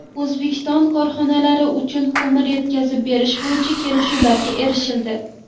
O‘zbekiston korxonalari uchun ko‘mir yetkazib berish bo‘yicha kelishuvlarga erishildi.